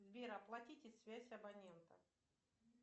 сбер оплатите связь абонента